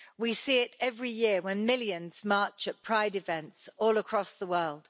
We see it every year when millions march at pride events all across the world.